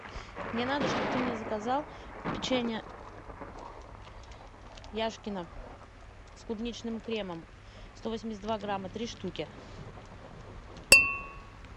мне надо чтоб ты мне заказал печенье яшкино с клубничным кремом сто восемьдесят два грамма три штуки